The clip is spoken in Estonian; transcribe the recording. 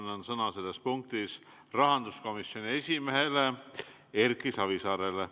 Nüüd ma annan selles punktis sõna rahanduskomisjoni esimehele Erki Savisaarele.